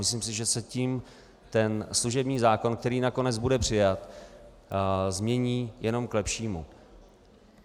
Myslím si, že se tím ten služební zákon, který nakonec bude přijat, změní jenom k lepšímu.